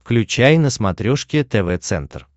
включай на смотрешке тв центр